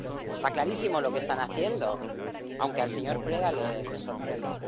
Está clarísimo lo que están haciendo, aunque al señor Preda le sorprenda.